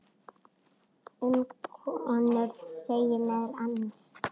Um konur segir meðal annars